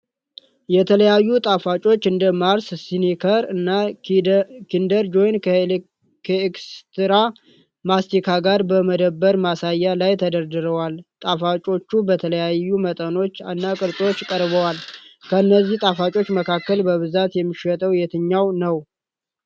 የተለያዩ ጣፋጮች እንደ ማርስ፣ ስኒከር እና ኪንደር ጆይ ከኤክስትራ ማስቲካ ጋር በመደብር ማሳያ ላይ ተደርድረዋል። ጣፋጮቹ በተለያዩ መጠኖች እና ቅርጾች ቀርበዋል። ከእነዚህ ጣፋጮች መካከል በብዛት የሚሸጠው የትኛው ነው?